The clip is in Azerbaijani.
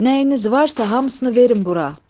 Nəyiniz varsa, hamısını verin bura.